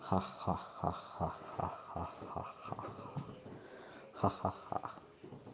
ха-ха-ха ха-ха-ха-ха-ха-ха